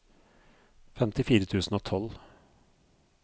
femtifire tusen og tolv